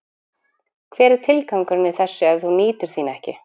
Hver er tilgangurinn í þessu ef þú nýtur þín ekki?